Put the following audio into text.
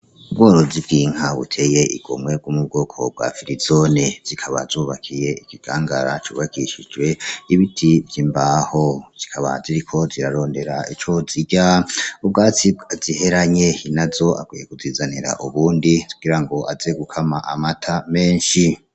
Ubworozi bw'inka buteye igomwe bwo mu bwoko bwa firizone, zikaba zubakiye ikigangara cubakishijwe ibiti vy'imbaho, zikaba ziriko zirarondera ico zirya, ubwatsi bwaziheranye nyenezo akwiye kuzizanira ubundi kugira ngo aze gukama amata menshi.